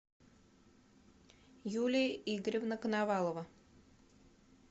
юлия игоревна коновалова